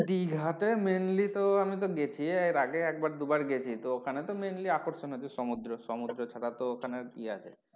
দিঘা তে mainly তো আমি তো গেছি এর আগে একবার দুবার গেছি তো ওখানে তো mainly আকর্ষণ হচ্ছে তো সমুদ্র সমুদ্র ছাড়া ওখানে কি আছে?